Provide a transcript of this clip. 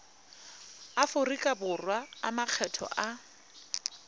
aforika borwa a makgetho a